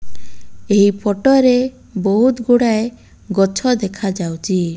ଏହି ଫୋଟୋ ରେ ବହୁତ୍ ଗୁଡାଏ ଗଛ ଦେଖାଯାଉଛି।